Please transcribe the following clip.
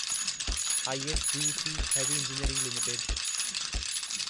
ISGEC heavy engineering limited